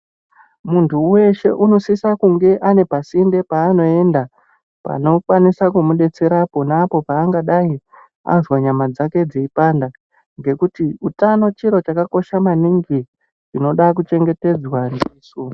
Muntu weshe unosisa kunge ane pasinde paanoenda panomukwanisa kumudetsera pona apo paangadai azwa nyama dzake dzeipanda ngekuti utano chiro chakakosha maningi chinoda kuchengetedzwa ndisu.